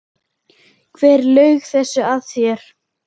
Hver laug þessu að þér?